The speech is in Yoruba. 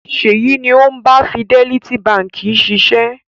Ṣèyí ni ó ń bá Fidelity Báńkì ṣiṣẹ́.